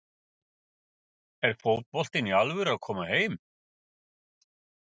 Er fótboltinn í alvöru að koma heim?